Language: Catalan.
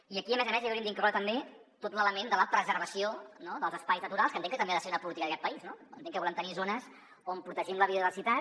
i aquí a més a més hi hauríem d’incloure també tot l’element de la preservació dels espais naturals que entenc que també ha de ser una política d’aquest país no entenc que volem tenir zones on protegim la biodiversitat